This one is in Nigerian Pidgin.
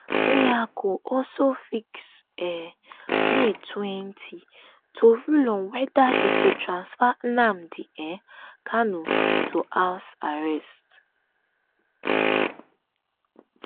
nyako also fix um may twenty to rule on whether e go transfer nnamdi um kanu to house arrest